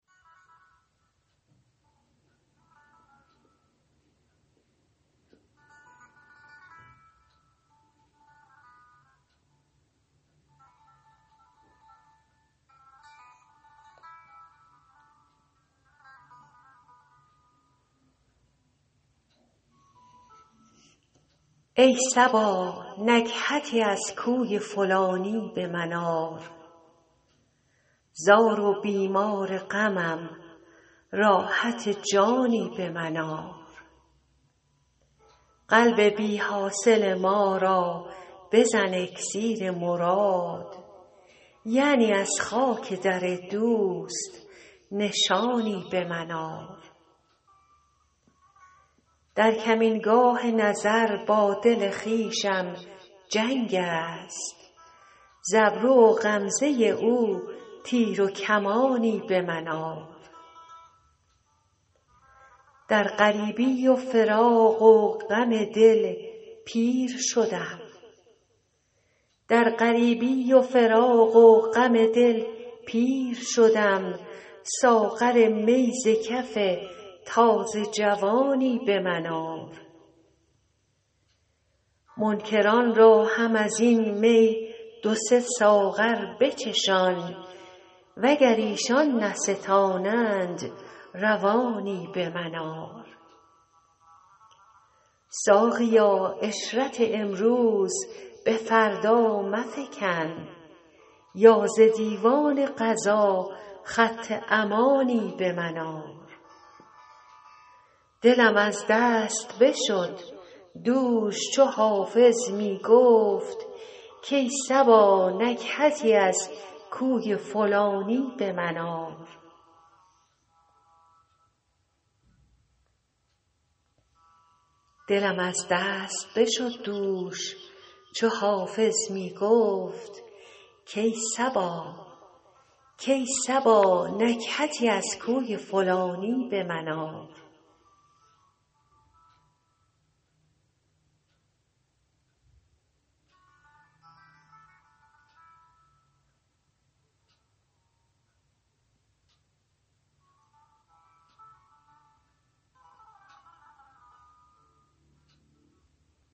ای صبا نکهتی از کوی فلانی به من آر زار و بیمار غمم راحت جانی به من آر قلب بی حاصل ما را بزن اکسیر مراد یعنی از خاک در دوست نشانی به من آر در کمینگاه نظر با دل خویشم جنگ است ز ابرو و غمزه او تیر و کمانی به من آر در غریبی و فراق و غم دل پیر شدم ساغر می ز کف تازه جوانی به من آر منکران را هم از این می دو سه ساغر بچشان وگر ایشان نستانند روانی به من آر ساقیا عشرت امروز به فردا مفکن یا ز دیوان قضا خط امانی به من آر دلم از دست بشد دوش چو حافظ می گفت کای صبا نکهتی از کوی فلانی به من آر